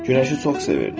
Günəşi çox sevirdi.